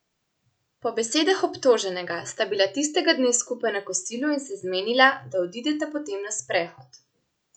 Po besedah obtoženega sta bila tistega dne skupaj na kosilu in se zmenila, da odideta potem na sprehod.